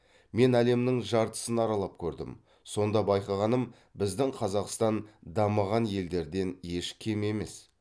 мен әлемнің жартысын аралап көрдім сонда байқағаным біздің қазақстан дамыған елдерден еш кем емес